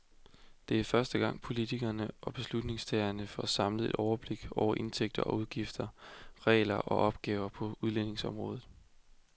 Det er første gang, politikere og beslutningstagere får et samlet overblik over indtægter og udgifter, regler og opgaver på udlændingeområdet.